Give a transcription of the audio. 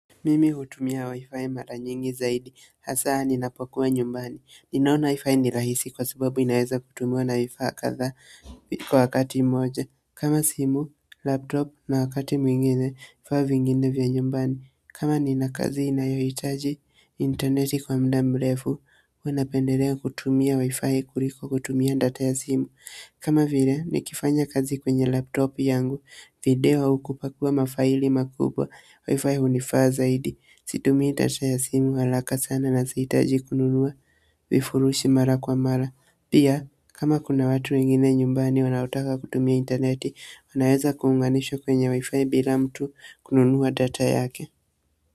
Mimi hutumia wifi mara nyingi zaidi, hasa ninapokuwa nyumbani, ninaona wifi ni rahisi kwa sababu inaweza kutumiwa na vifaa kadhaa kwa wakati mmoja. Kama simu, laptop na wakati mwingine vifaa vingine vya nyumbani. Kama nina kazi inayohitaji intaneti kwa muda mrefu, unapendelea kutumia wifi kuliko kutumia data ya simu kama vile, nikifanya kazi kwenye laptop yangu, video au kupakua mafaili makubwa, WiFi hunifaa zaidi, situmii data ya simu haraka sana na sihitaji kununua vifurushi mara kwa mara. Pia, kama kuna watu wengine nyumbani wanaotaka kutumia intaneti, wanaeza kuunganishwa kwenye WiFi bila mtu kununua data yake.